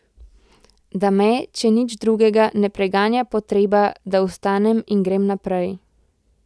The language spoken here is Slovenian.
Da me, če nič drugega, ne preganja potreba, da vstanem in grem naprej.